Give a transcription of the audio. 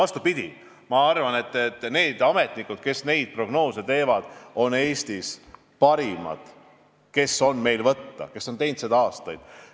Vastupidi, ma arvan, et need ametnikud, kes neid prognoose teevad, on parimad, kes meil Eestis võtta on, nad on teinud seda tööd aastaid.